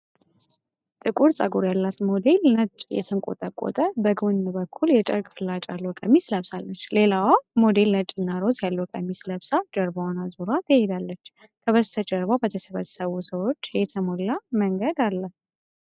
ጥቁር ፀጉር ያላት ሞዴል ነጭ፣ የተንቆጠቆጠ፣ በጎን በኩል የጨርቅ ፍላጭ ያለው ቀሚስ ለብሳለች። ሌላዋ ሞዴል ነጭና ሮዝ ያለው ቀሚስ ለብሳ ጀርባዋን አዙራ ትሄዳለች። ከበስተጀርባ በተሰበሰቡ ሰዎች የተሞላ መንገድ አለ።